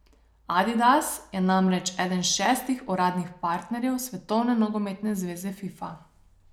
Adidas je namreč eden šestih uradnih partnerjev svetovne nogometne zveze Fifa.